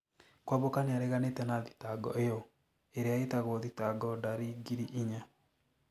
Kwamboka nĩareganĩte na thitango ĩyo, ĩrĩa ĩtagwo thitango ndari ngiri inya.